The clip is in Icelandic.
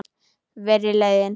Verri leiðin.